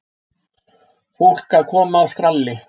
Fólk að koma af skralli.